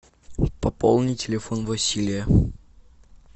пополни телефон василия